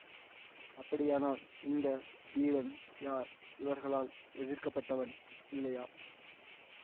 அப்படியானால் இந்த வீரன் யார் இவர்களால் எதிர்பார்க்கப்பட்டவன் இல்லையா